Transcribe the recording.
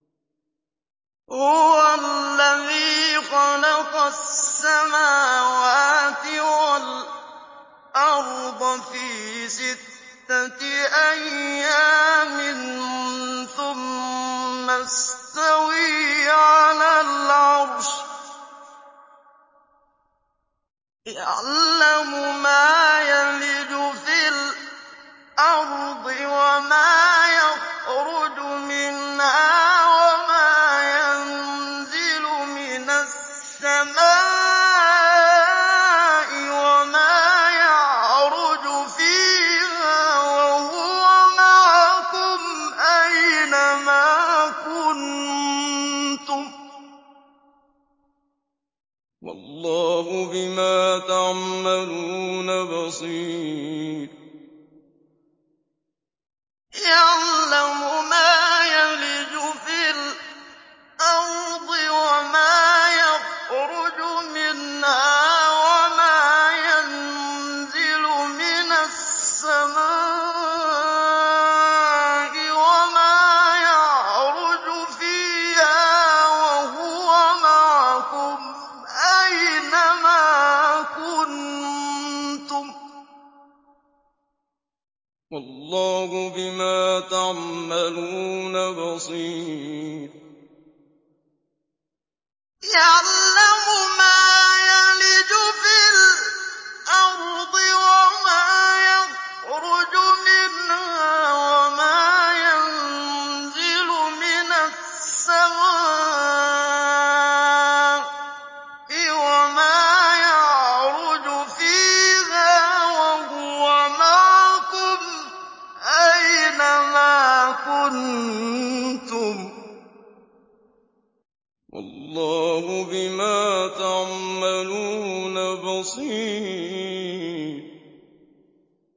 هُوَ الَّذِي خَلَقَ السَّمَاوَاتِ وَالْأَرْضَ فِي سِتَّةِ أَيَّامٍ ثُمَّ اسْتَوَىٰ عَلَى الْعَرْشِ ۚ يَعْلَمُ مَا يَلِجُ فِي الْأَرْضِ وَمَا يَخْرُجُ مِنْهَا وَمَا يَنزِلُ مِنَ السَّمَاءِ وَمَا يَعْرُجُ فِيهَا ۖ وَهُوَ مَعَكُمْ أَيْنَ مَا كُنتُمْ ۚ وَاللَّهُ بِمَا تَعْمَلُونَ بَصِيرٌ